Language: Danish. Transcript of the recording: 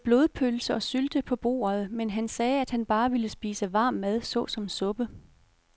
Der var både blodpølse og sylte på bordet, men han sagde, at han bare ville spise varm mad såsom suppe.